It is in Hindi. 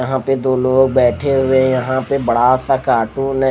यहाँ पे दो लोग बेठे हुए है यहाँ पर बसा सा कार्टून है।